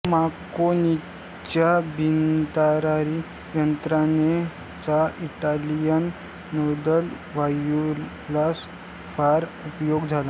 मार्कोनीच्या बिनतारी यंत्रणेचा इटालियन नौदल वायुदलास फार उपयोग झाला